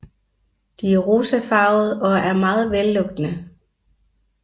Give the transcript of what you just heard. De er rosafarvede og meget vellugtende